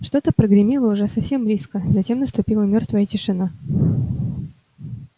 что-то прогремело уже совсем близко затем наступила мёртвая тишина